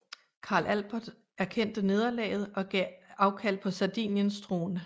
Karl Albert erkendte nederlaget og gav afkald på Sardiniens trone